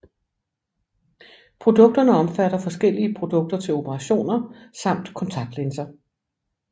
Produkterne omfatter forskellige produkter til operationer samt kontaktlinser